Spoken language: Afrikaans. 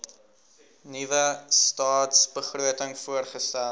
nuwe stadsbegroting voorgestel